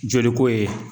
Joli ko ye